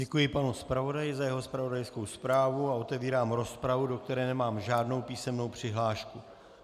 Děkuji panu zpravodaji za jeho zpravodajskou zprávu a otevírám rozpravu, do které nemám žádnou písemnou přihlášku.